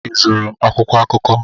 Ị zụrụ akwụkwọ akụkọ